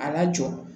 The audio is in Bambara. A lajɔ